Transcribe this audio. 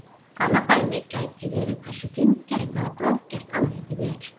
Annað dæmi gæti verið hversu fíngert eða grófgert andlitið er.